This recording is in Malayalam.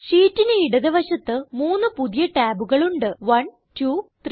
ഷീറ്റിന് ഇടത് വശത്ത് മൂന്ന് പുതിയ ടാബുകൾ ഉണ്ട് 1 2 3